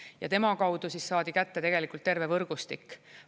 Ja tema kaudu saadi kätte tegelikult terve võrgustik.